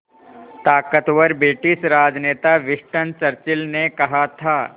ताक़तवर ब्रिटिश राजनेता Winston Churchill ने कहा था